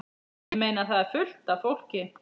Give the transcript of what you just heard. Ég meina. það er fullt af fólki.